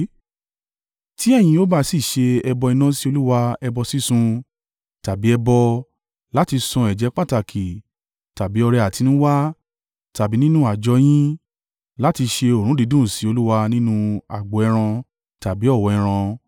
tí ẹ̀yin ó bá sì ṣe ẹbọ iná sí Olúwa ẹbọ sísun, tàbí ẹbọ, láti san ẹ̀jẹ́ pàtàkì tàbí ọrẹ àtinúwá, tàbí nínú àjọ yín, láti ṣe òórùn dídùn sí Olúwa nínú agbo ẹran tàbí ọ̀wọ́ ẹran,